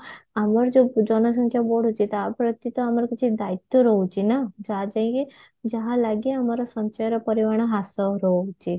ଆମର ଯଉ ଜନସଂଖ୍ୟା ବଢୁଛି ତାପ୍ରତି ତ ଆମର କିଛି ଦଇତ୍ଵ ରହୁଛି ନା ଯାହା ଯାଇକି ଯାହାଲାଗେ ଆମ ସଞ୍ଚୟର ପରିମାଣ ହ୍ରାସ ରହୁଛି